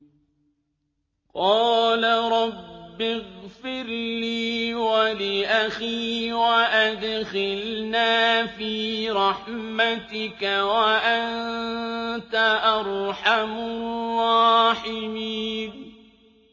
قَالَ رَبِّ اغْفِرْ لِي وَلِأَخِي وَأَدْخِلْنَا فِي رَحْمَتِكَ ۖ وَأَنتَ أَرْحَمُ الرَّاحِمِينَ